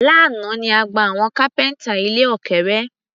Lánàá ni a gba àwọn kápẹ́ńtà ilẹ̀ òkèrè.